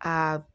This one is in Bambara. Aa